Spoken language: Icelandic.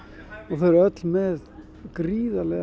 þau eru öll með gríðarlega